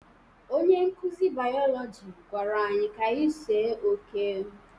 Onye nkuzi biologi gwara anyị ka anyị see oke